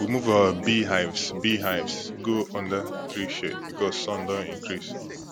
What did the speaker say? we move our beehives beehives go under tree shade because sun don increase